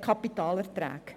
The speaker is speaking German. Kapitalerträge.